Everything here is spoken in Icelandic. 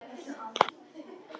Finnst þér að það ætti að gerast?